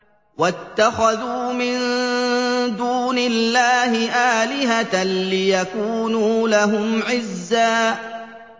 وَاتَّخَذُوا مِن دُونِ اللَّهِ آلِهَةً لِّيَكُونُوا لَهُمْ عِزًّا